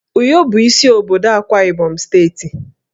Uyo bụ isi obodo Akwa Ibom steeti